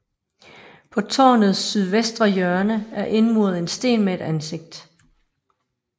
På tårnets sydvestre hjørne er indmuret en sten med et ansigt